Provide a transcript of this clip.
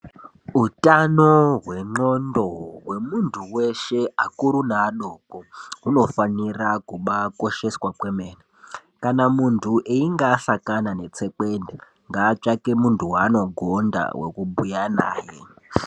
Hutano hwendxondo hwemuntu weshe vakuru nevadoko hunofanira kuba kosheswa kwemene kana muntu eyinga asangana netsekwende ngatsvake muntu waanogonda wekubhuya naye.